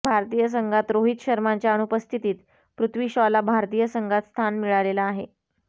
भारतीय संघात रोहित शर्माच्या अनुपस्थितीत पृथ्वी शॉला भारतीय संघात स्थान मिळालेलं आहे